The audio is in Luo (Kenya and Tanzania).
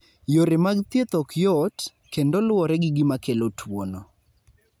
Yore mag thieth ok yot, kendo luwore gi gima kelo tuwono.